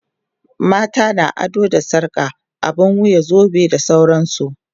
mata na ado da sarka, abun wuya, zobe da sauransu